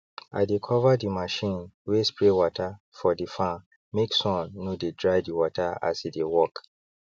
i dey cover the machine wey spray water for the farmmake sun no dey dry the water as e dey work